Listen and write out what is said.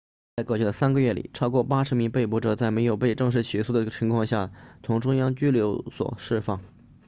在过去的3个月里超过80名被捕者在没有被正式起诉的情况下从中央拘留所释放